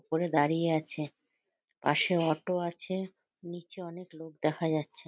পরে দাড়িয়ে আছে। পাশে অটো আছে। নিচে অনেক লোক দেখা যাচ্ছে।